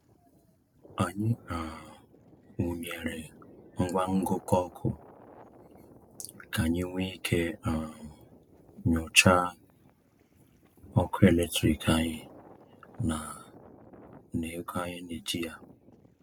Anyị um wụnyeere ngwa ngụkọ ọkụ ka anyị nwee ike um nyochaa ọkụ eletrik anyị na na ego anyị na-eji ya.